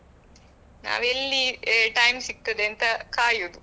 ನಾವು ಎಲ್ಲಿ time ಸಿಗ್ತದೆ ಅಂತ ಕಾಯುವುದು.